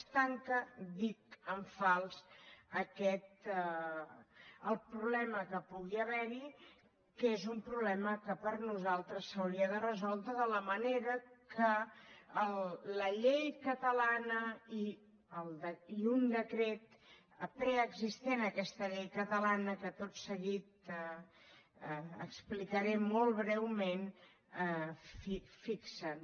es tanca ho dic en fals el problema que pugui haver hi que és un problema que per nosaltres s’hauria de resoldre de la manera que la llei catalana i un decret preexistent a aquesta llei catalana que tot seguit explicaré molt breument fixen